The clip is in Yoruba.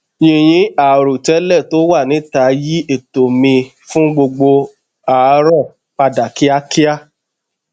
yinyin àìròtélè to wa nita yi eto mi fun gbogbo aarọ padà kíákíá